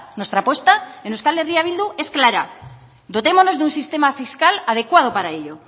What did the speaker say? nuestra apuesta en euskal herria bildu es clara dotémonos de un sistema fiscal adecuado para ello